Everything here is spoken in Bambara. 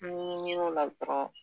N ɲe miri o la dɔrɔn.